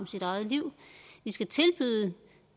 sit eget liv vi skal tilbyde